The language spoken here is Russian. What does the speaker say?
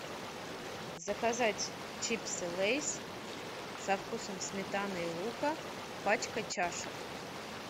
заказать чипсы лейс со вкусом сметаны и лука пачка чаша